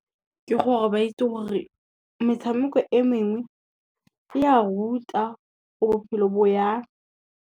Ke gore ba itse gore metshameko e mengwe, e ya ruta gore bophelo bo jang.